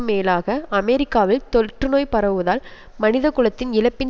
மேலாக அமெரிக்காவில் தொற்றுநோய் பரவுவதால் மனித குலத்தின் இழப்பின்